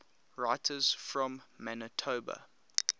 writers from manitoba